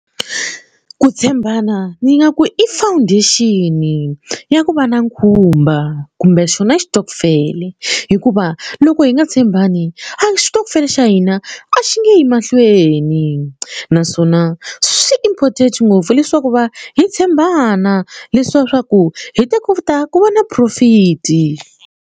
Ku tshembana ni nga ku i foundation ya ku va na khumba kumbe xona xitokofele hikuva loko hi nga tshembani a xitokofela xa hina a xi nge yi mahlweni naswona swi important ngopfu leswaku va hi tshembana swa ku hi ta kota ku va na profit.